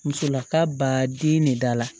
Musolaka ba den ne da la